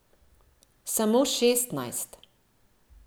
Samo šestnajst!